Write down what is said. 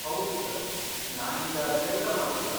ಹೌದು ಸರ್, ನಾನೀಗ ಕೆಲ್ಸ ಮಾಡ್ತಿಲ್ಲ.